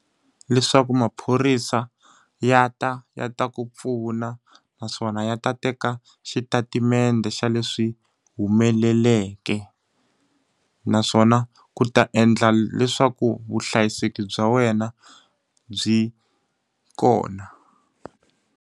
Leswaku maphorisa ya ta ya ta ku pfuna, naswona ya ta teka xitatimende xa leswi humeleleke. Naswona ku ta endla leswaku vuhlayiseki bya wena byi kona.